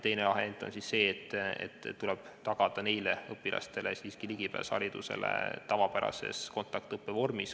Teine variant on see, et neile õpilastele tuleb tagada ligipääs haridusele tavapärase kontaktõppe vormis.